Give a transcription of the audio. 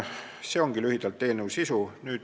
See ongi lühidalt eelnõu sisu.